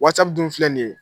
dun filɛ nin ye.